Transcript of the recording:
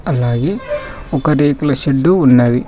అలాగే ఒక రేకుల షెడ్ ఉన్నది.